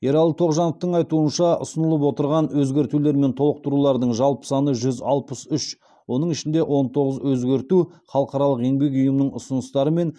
ералы тоғжановтың айтуынша ұсынылып отырған өзгертулер мен толықтырулардың жалпы саны жүз алпыс үш оның ішінде он тоғыз өзгерту халықаралық еңбек ұйымының ұсыныстары мен